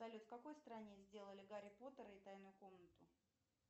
салют в какой стране сделали гарри поттера и тайную комнату